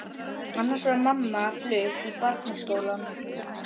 Annars var mamma flutt í Barnaskólann.